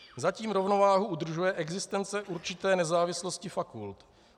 Zatím rovnováhu udržuje existence určité nezávislosti fakult.